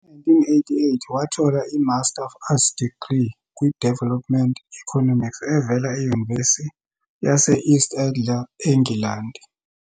Ngo-1988 wathola i-Master of Arts degree kwi-Development Economics evela eNyuvesi yase-East Anglia eNgilandi.